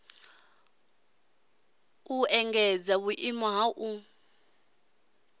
u engedza vhuimo ha u